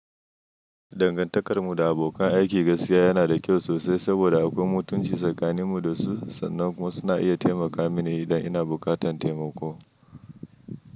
Dangantakar mu da abokan aiki gaskiya yana da kyau sosai saboda akwai mutunci tsakanin mu da su sannan kuma suna iya taimaka mini idan ina buƙatar taimako.